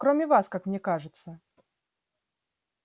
кроме вас как мне кажется